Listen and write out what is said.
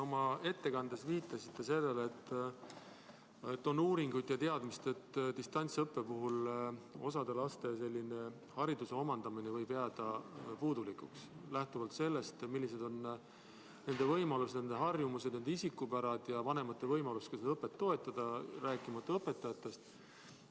Oma ettekandes te viitasite sellele, et on uuringuid ja teadmist, et distantsõppe puhul võib osa laste hariduse omandamine jääda puudulikuks, lähtuvalt sellest, millised on nende võimalused, harjumused, isikupära ja vanemate võimalus seda õpet toetada, rääkimata õpetajatest.